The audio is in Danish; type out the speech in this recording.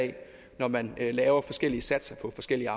når man laver forskellige satser på forskellige